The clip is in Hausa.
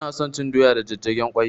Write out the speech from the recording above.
Ina son cin doya da jajjagen ƙwai